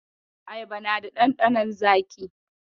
Ayaba na da ɗanɗanon zaƙi.